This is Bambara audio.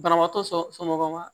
Banabaatɔ somɔgɔw ma